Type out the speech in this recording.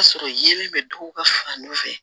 O y'a sɔrɔ yeelen bɛ duw ka fan dɔ fɛ